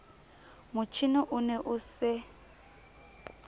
motjhine o ne o se